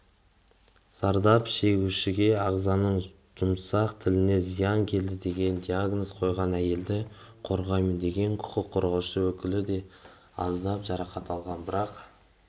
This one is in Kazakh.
зардап шегушіге ағзаның жұмсақ тініне зиян келді деген диагноз қойған әйелді қорғаймын деген құқық қорғаушы өкілі де аздап жарақат алған бірақ